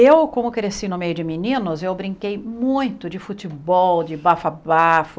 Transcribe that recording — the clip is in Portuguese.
Eu, como cresci no meio de meninos, eu brinquei muito de futebol, de bafo a bafo.